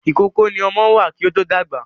Ìkókó ni ọmọ wà kí ó to dàgbà.